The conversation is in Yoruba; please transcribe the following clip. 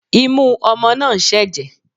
Imú ọmọ náà ń ṣẹ̀jẹ̀